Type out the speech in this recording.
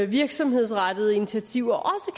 virksomhedsrettede initiativer